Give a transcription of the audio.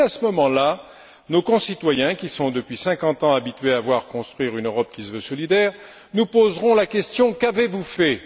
Et, à ce moment là, nos concitoyens, qui sont, depuis cinquante ans, habitués à voir construire une Europe qui se veut solidaire, nous poseront la question'Qu'avez vous fait?'.